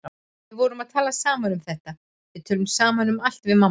Við vorum að tala saman um þetta, við tölum saman um allt við mamma.